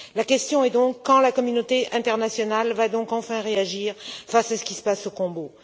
La question est donc quand la communauté internationale va t elle enfin réagir face à ce qui se passe au Congo?